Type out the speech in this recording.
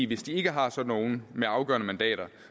hvis de ikke har sådan nogle med afgørende mandater